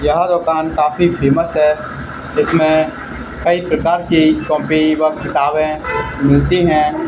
यह दुकान काफी फेमस है इसमें कई प्रकार की कॉपी व किताबें मिलती हैं।